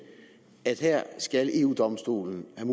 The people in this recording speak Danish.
at her skal eu domstolen have